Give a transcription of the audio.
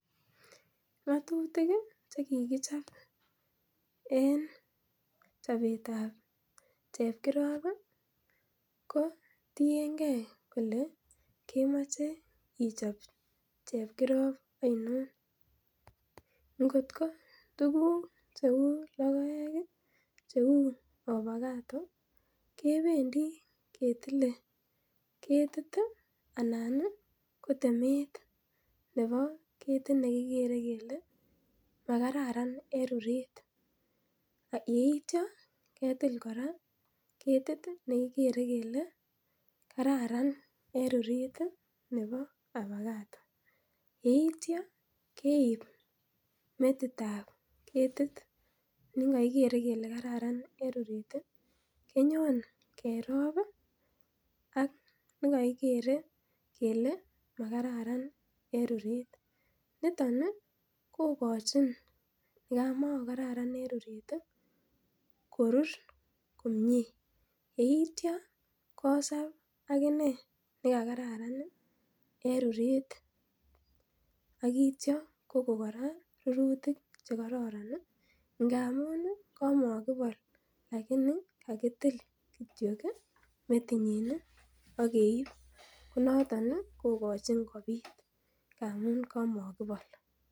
Ng'atutik che kikichobe en chabetab chekirop kotienge kole kemache chepkirob ainon. Ingot ko tuguk cheuu lokoek ih cheuu , opakado kependi ketile ketit ih anan ih ko temet nebo ketit nekikere kele kararan en ruret aketil kora ketit ih nebo nekikere kele kararan en ruret., yeitia keib metitab ketit nekekikere kele kararan en ruret ih kerob ih ak nekikere kele kararan en ruret niton ih kokochin korur komie kosab agine nekakararan en ruret aitya Kokon rurutik che kararan ngamun kamakibol kakitil kityo metinyin ih akeib metinyin ih